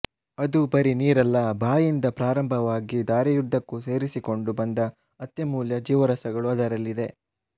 ಅದು ಬರೀ ನೀರಲ್ಲ ಬಾಯಿಯಿಂದ ಪ್ರಾರಂಭವಾಗಿ ದಾರಿಯುದ್ದಕ್ಕೂ ಸೇರಿಸಿಕೊಂಡು ಬಂದ ಅತ್ಯಮೂಲ್ಯ ಜೀವರಸಗಳು ಅದರಲ್ಲಿದೆ